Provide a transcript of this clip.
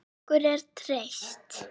Okkur er treyst